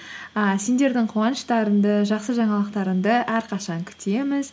а сендердің қуаныштарыңды жақсы жаңалықтарыңды әрқашан күтеміз